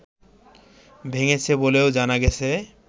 ভেঙেছে বলেও জানা গেছে